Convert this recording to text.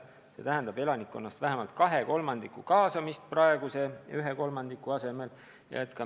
See tähendab elanikkonnast vähemalt 2/3 kaasamist praeguse 1/3 asemel.